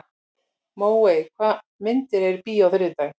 Móey, hvaða myndir eru í bíó á þriðjudaginn?